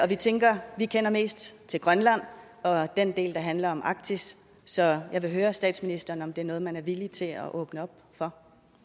vi tænker at vi kender mest til grønland og den del der handler mig arktis så jeg vil høre statsministeren om det er noget man er villig til at åbne op for